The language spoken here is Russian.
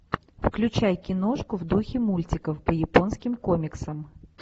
включай киношку в духе мультиков по японским комиксам